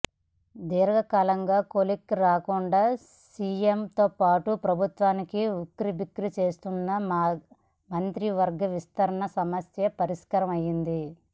దీర్ఘకాలంగా కొలిక్కి రాకుండా సీఎంతోపాటు ప్రభుత్వాన్ని ఉక్కిరిబిక్కిరి చేస్తున్న మంత్రివర్గ విస్తరణ సమస్య పరిష్కారం అయింది